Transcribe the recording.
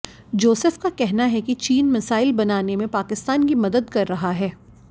Joseph का कहना है कि चीन मिसाइल बनाने में पाकिस्तान की मदद कर रहा है